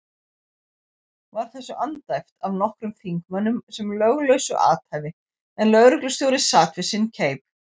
Var þessu andæft af nokkrum þingmönnum sem löglausu athæfi, en lögreglustjóri sat við sinn keip.